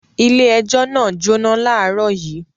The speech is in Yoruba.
Ilé-ẹjọ́ náà jóná láàárọ̀ yìí.